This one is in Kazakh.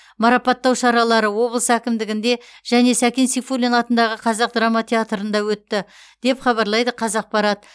марапаттау шаралары облыс әкімдігінде және сәкен сейфуллин атындағы қазақ драма театрында өтті деп хабарлайды қазақпарат